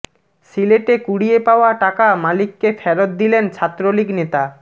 সিলেটে কুড়িয়ে পাওয়া টাকা মালিককে ফেরত দিলেন ছাত্রলীগ নেতা